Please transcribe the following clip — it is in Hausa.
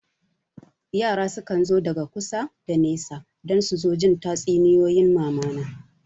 Yara sukan zo daga kusa da nesa don su zo jin tatsuniyoyin mamana